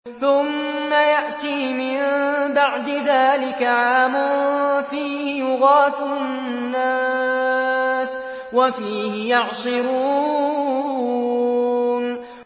ثُمَّ يَأْتِي مِن بَعْدِ ذَٰلِكَ عَامٌ فِيهِ يُغَاثُ النَّاسُ وَفِيهِ يَعْصِرُونَ